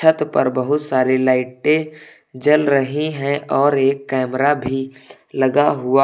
छत पर बहुत सारे लाइटें जल रही हैं और एक कैमरा भी लगा हुआ--